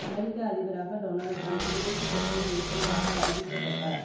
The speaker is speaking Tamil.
அமெரிக்க அதிபராக டொனால்ட் ட்ரம்ப் கு டியரசுக் கட்சியின் வேட்பாள ராக அறிவிக்கப் பட்ட